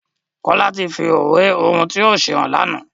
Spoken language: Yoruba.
Kola tí fí ìwé ohùn tí yóò ṣe hàn lànà